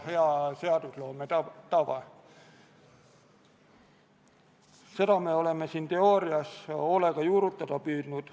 Missioonil osalemisega täidab Eesti oma NATO-liikmesusest tulenevaid liitlaskohustusi.